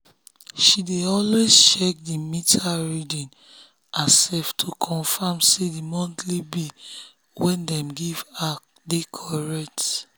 she dey always check the meter reading herself to confirm say the monthly bill we dem dey give her correct.